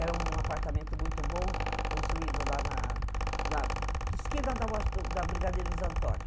Era um apartamento muito bom, construído lá na na na esquina da washington Brigadeiros Antônio.